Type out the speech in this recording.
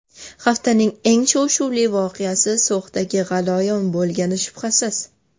Haftaning eng shov-shuvli voqeasi So‘xdagi g‘alayon bo‘lgani shubhasiz.